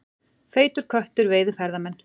Feitur köttur veiði ferðamenn